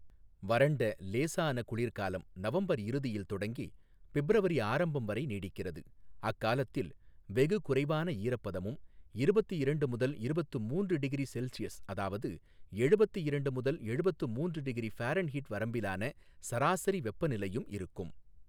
வறண்ட, லேசான குளிர்காலம் நவம்பர் இறுதியில் தொடங்கி பிப்ரவரி ஆரம்பம் வரை நீடிக்கிறது அக்காலத்தில் வெகு குறைவான ஈரப்பதமும் இருபத்து இரண்டு முதல் இருபத்து மூன்று டிகிரி செல்சியஸ் அதாவது எழுபத்து இரண்டு முதல் எழுபத்து மூன்று டிகிரி ஃபாரன்ஹீட் வரம்பிலான சராசரி வெப்பநிலையும் இருக்கும்.